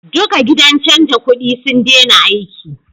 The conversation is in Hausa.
Duka gidan canja kudi sun dena aiki